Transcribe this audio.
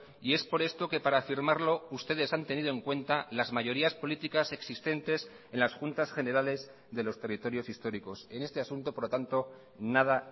y es por esto que para firmarlo ustedes han tenido en cuenta las mayorías políticas existentes en las juntas generales de los territorios históricos en este asunto por lo tanto nada